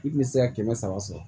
I tun tɛ se ka kɛmɛ saba sɔrɔ